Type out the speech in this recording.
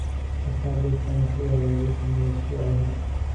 ka saar liiska martidayda ee la sameeyay usbuucii hore